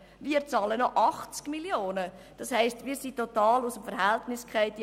Wir bezahlen noch 80 Mio. Franken und sind somit total aus dem Verhältnis gefallen.